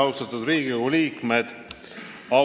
Austatud Riigikogu liikmed!